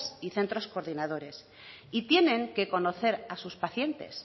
y centro coordinadores y tienen que conocer a sus pacientes